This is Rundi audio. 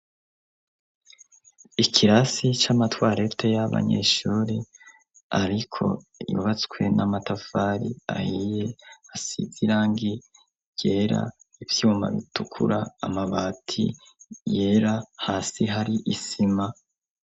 ikirasi c'amatwarete y'abanyeshuri ariko yubatswe n'amatafari ahiye asizirangi ryera ivyuma bitukura amabati yera hasi hari isima